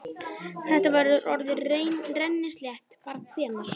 Þetta verður orðið rennislétt bara hvenær?